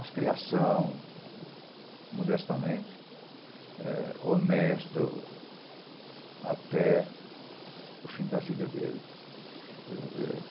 As criação, modestamente, eh honesto até o fim da vida dele.